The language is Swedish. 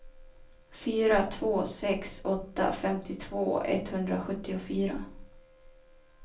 fyra två sex åtta femtiotvå etthundrasjuttiofyra